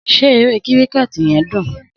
Sé eré kíríkẹ̀tì yen dún?